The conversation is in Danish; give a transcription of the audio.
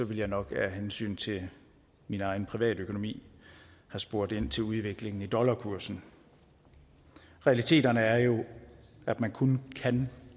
ville jeg nok af hensyn til min egen privatøkonomi have spurgt ind til udviklingen i dollarkursen realiteterne er jo at man kun kan